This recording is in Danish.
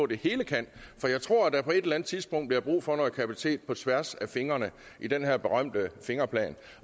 det hele kan for jeg tror at der på et eller andet tidspunkt bliver brug for noget kapacitet på tværs af fingrene i den her berømte fingerplan